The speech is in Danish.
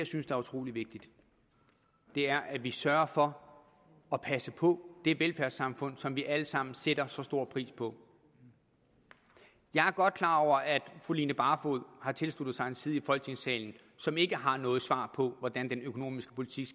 synes er utrolig vigtigt er at vi sørger for at passe på det velfærdssamfund som vi alle sammen sætter så stor pris på jeg er godt klar over at fru line barfod har tilsluttet sig en side i folketingssalen som ikke har noget svar på hvordan den økonomiske politik